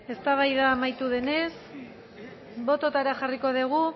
eztabaida amaitu denez bototara jarriko dugu